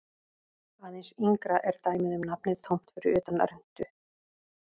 Aðeins yngra er dæmið um nafnið tómt fyrir utan rentu.